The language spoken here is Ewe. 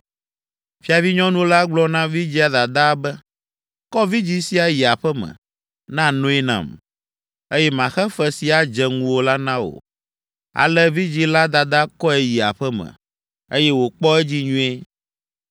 Fiavinyɔnu la gblɔ na vidzĩa dadaa be, “Kɔ vidzĩ sia yi aƒe me, na noe nam, eye maxe fe si adze ŋuwò la na wò!” Ale vidzĩ la dada kɔe yi aƒe me, eye wòkpɔ edzi nyuie.